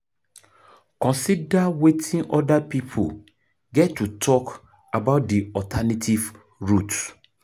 Consider weting oda pipo get to talk about di alternative route